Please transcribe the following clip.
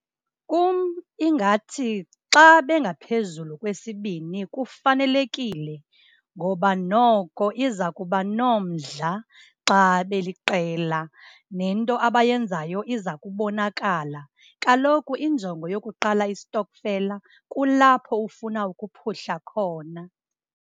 Kum ingathi xa bengaphezulu kwesibini kufanelekile ngoba noko iza kuba nomdla xa beliqela nento abayenzayo iza kubonakala. Kaloku injongo yokuqala istokfela kulapho ufuna ukuphuhla khona.